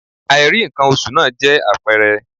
Àìrí ǹkan oṣù náà jẹ́ àpẹẹrẹ